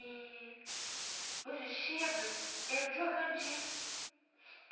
E os vestidos eram de organdi.